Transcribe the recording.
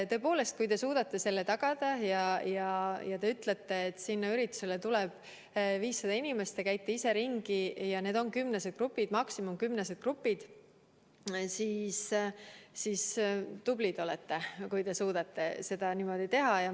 Tõepoolest, kui te suudate seda tagada ja ütlete, et sinna üritusele tuleb 500 inimest, te käite ise ringi ja veendute, et need on maksimaalselt kümnesed grupid, siis olete tubli.